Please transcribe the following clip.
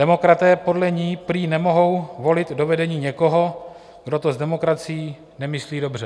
Demokraté podle ní prý nemohou volit do vedení někoho, kdo to s demokracií nemyslí dobře.